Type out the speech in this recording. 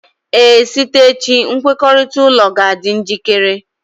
Ee, site echi nkwekọrịta ụlọ ga-adị njikere